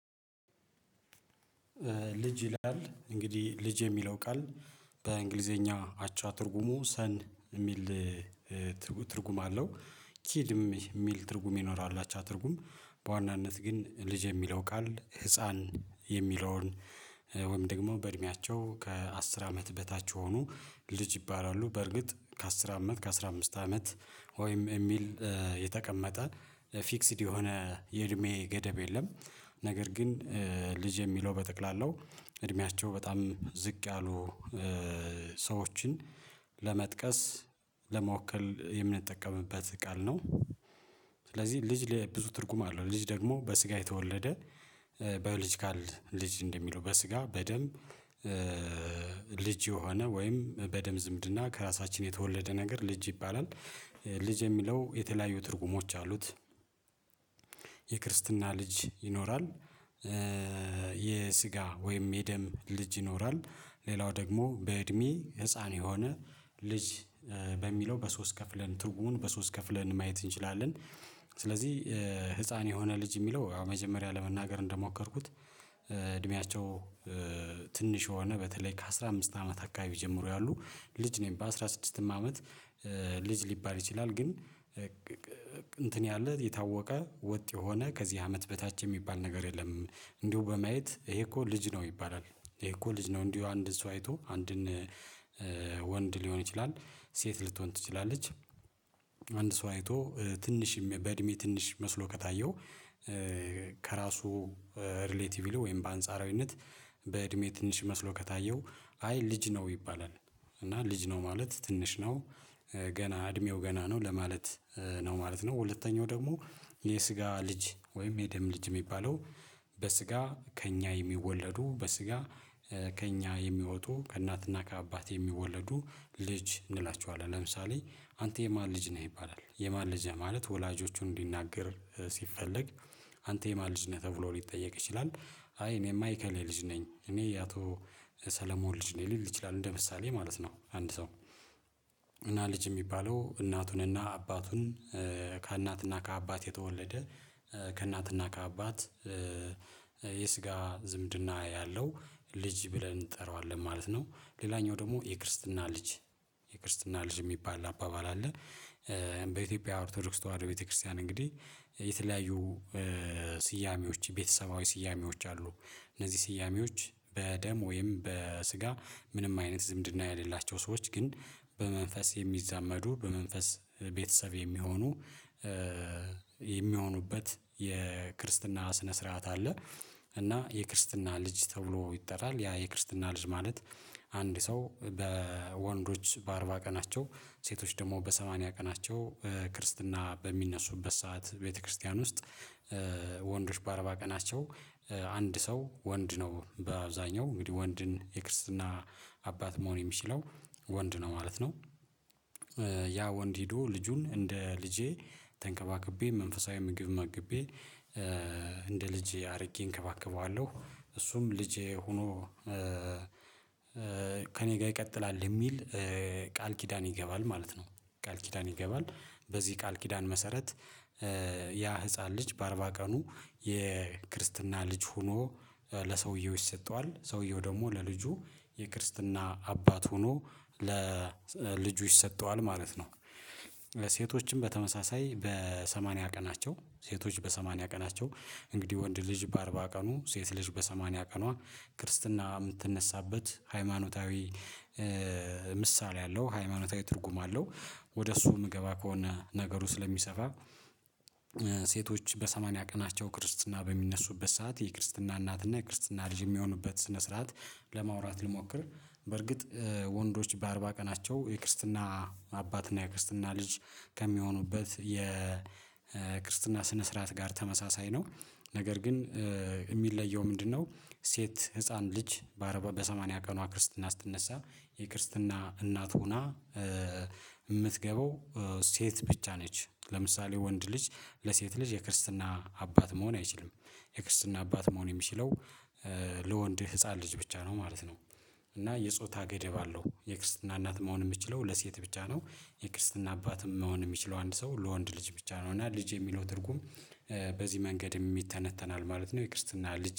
ልጅ ይላል እንግዲህ ልጅ የሚለው ቃል በእንግሊዘኛ አቻ ትርጉሙ ሰን የሚል ትርጉም አለው። ኪድም የሚል ትርጉም ይኖራሉ አቻ ትርጉም በዋናነት ግን ልጅ የሚለው ቃል ህፃን የሚለውን ወይም ደግሞ በእድሜያቸው ከአስር አመት በታች የሆኖ ልጅ ይባላሉ በርግጥ ከአስር አመት ከአሥራ አምስት አመት ወይም የሚል የተቀመጠ ፊክስድ የሆነ የእድሜ ገደብ የለም ነገር ግን ልጅ የሚለው በጠቅላላው እድሜያቸው በጣም ዝቅ ያሉ ሰዎችን ለመጥቀስ ለመወከል የምንጠቀምበት ቃል ነው። ስለዚህ ልጅ ብዙ ትርጉም አለው ልጅ ደግሞ በስጋ የተወለደ ባዮሎጂካል ልጅ እንደሚለው በስጋ በደም ልጅ የሆነ ወይም በደም ዝምድና ከራሳችን የተወለደ ነገር ልጅ ይባላል ልጅ የሚለው የተለያዩ ትርጉሞች አሉት። የክርስትና ልጅ ይኖራል የስጋ ወይም የደም ልጅ ይኖራል ሌላው ደግሞ በእድሜ ህፃን የሆነ ልጅ በሚለው በሶስት ከፍለን ትርጉሙን በሶስት ከፍለን ማየት እንችላለን። ስለዚህ ህፃን የሆነ ልጅ የሚለው ያው መጀመሪያ ለመናገር እንደሞከርኩት እድሜያቸው ትንሽ የሆነ በተለይ ከአሥራ አምስት አመት አካባቢ ጀምሮ ያሉ ልጅ ነው በአስራ ስድስትም አመት ልጅ ሊባል ይችላል። ግን እንትን ያለ የታወቀ ወጥ የሆነ ከዚህ አመት በታች የሚባል ነገር የለም። እንዲሁ በማየት ይሄ እኮ ልጅ ነው ይባላል ይሄ እኮ ልጅ ነው እንዲሁ አንድ ሰው አይቶ አንድን ወንድ ሊሆን ይችላል ሴት ልትሆን ትችላለች። አንድ ሰው አይቶ ትንሽ በእድሜ ትንሽ መስሎ ከታየው ከራሱ ሪሌቲቭሊ ወይም በአንጻራዊነት በእድሜ ትንሽ መስሎ ከታየው አይ ልጅ ነው ይባላል። እና ልጅ ነው ማለት ትንሽ ነው ገና እድሜው ገና ነው ለማለት ነው ማለት ነው። ሁለተኛው ደግሞ የስጋ ልጅ ወይም የደም ልጅ ሚባለው በስጋ ከእኛ የሚወለዱ በስጋ ከእኛ የሚወጡ ከእናትና ከአባት የሚወለዱ ልጅ እንላቸዋለን ለምሳሌ አንተ የማን ልጅ ነህ ይባላል የማን ልጅ ነህ ማለት ወላጆቹን እንዲናገር ሲፈለግ አንተ የማን ልጅ ነህ ተብሎ ሊጠየቅ ይችላል? አይ እኔማ የእከሌ ልጅ ነኝ እኔ የአቶ ሰለሞን ልጅ ነኝ ሊል ይችላል እንደ ምሳሌ ማለት ነው። አንድ ሰው እና ልጅ የሚባለው እናቱንና አባቱን ከእናትና ከአባት የተወለደ ከእናትና ከአባት የስጋ ዝምድና ያለው ልጅ ብለን እንጠራዋለን ማለት ነው። ሌላኛው ደግሞ የክርስትና ልጅ የክርስትና ልጅ ሚባል አባባል አለ በኢትዮጵያ ኦርቶዶክስ ተዋህዶ ቤተክርስቲያን እንግዲህ የተለያዩ ስያሜዎች የቤተሰባዊ ስያሜዎች አሉ እነዚህ ስያሜዎች በደም ወይም በስጋ ምንም አይነት ዝምድና ያሌላቸው ሰዎች ግን በመንፈስ የሚዛመዱ በመንፈስ ቤተሰብ የሚሆኑ የሚሆኑበት የክርስትና ስነ ስርዓት አለ። እና የክርስትና ልጅ ተብሎ ይጠራል ያ የክርስትና ልጅ ማለት አንድ ሰው በወንዶች በአርባ ቀናቸው ሴቶች ደግሞ በሰማንያ ቀናቸው ክርስትና በሚነሱበት ሰዓት ቤተክርስቲያን ውስጥ ወንዶች በአርባ ቀናቸው አንድ ሰው ወንድ ነው በአብዛኛው እንግዲህ ወንድን የክርስትና አባት መሆን የሚችለው ወንድ ነው ማለት ነው። ያ ወንድ ሄዶ ልጁን እንደ ልጄ ተንከባክቤ መንፈሳዊ ምግብ መግቤ እንደ ልጄ አድርጌ እንከባከበዋለሁ እሱም ልጄ ሆኖ ከእኔ ጋር ይቀጥላል የሚል ቃል ኪዳን ይገባል ማለት ነው። ቃል ኪዳን ይገባል በዚህ ቃል ኪዳን መሰረት ያ ህፃን ልጅ በአርባ ቀኑ የክርስትና ልጅ ሆኖ ለሰውየው ይሰጠዋል ሰውየው ደግሞ ለልጁ የክርስትና አባት ሆኖ ለልጁ ይሰጠዋል ማለት ነው። ለሴቶችም በተመሳሳይ በሰማንያ ቀናቸው ሴቶች በሰማንያ ቀናቸው እንግዲህ ወንድ ልጅ በአርባ ቀኑ ሴት ልጅ በሰማንያ ቀኗ ክርስትና ምትነሳበት ሃይማኖታዊ ምሳሌ አለው ሃይማኖታዊ ትርጉም አለው ወደ እሱ የምገባ ከሆነ ነገሩ ስለሚሰፋ ሴቶች በሰማንያ ቀናቸው ክርስትና በሚነሱበት ሰዓት የክርስትና እናትና የክርስትና ልጅ የሚሆኑበት ስነ ስርዓት ለማውራት ልሞክር በርግጥ ወንዶች በአርባ ቀናቸው የክርስትና አባት እና የክርስትና ልጅ ከሚሆኑበት የክርስትና ስነ ስርዓት ጋር ተመሳሳይ ነው። ነገር ግን የሚለየው ምንድነው? ሴት ህፃን ልጅ በሰማንያ ቀኗ ክርስትና ስትነሳ የክርስትና እናት ሆና የምትገባው ሴት ብቻ ነች ለምሳሌ ወንድ ልጅ ለሴት ልጅ የክርስትና አባት መሆን አይችልም። የክርስትና አባት መሆን የሚችለው ለወንድ ህፃን ልጅ ብቻ ነው ማለት ነው። እና የጾታ ገደብ አለው የክርስትና እናት መሆን የምችለው ለሴት ብቻ ነው የክርስትና አባትም መሆን የሚችለው አንድ ሰው ለወንድ ልጅ ብቻ ነው እና ልጅ የሚለው ትርጉም። በዚህ መንገድም ይተነተናል ማለት ነው የክርስትና ልጅ